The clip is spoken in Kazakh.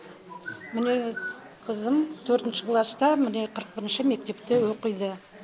міне қызым төртінші класста міне қырық бірінші мектепте оқиды